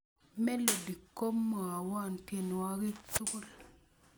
melodi komwowo tienuakik tukul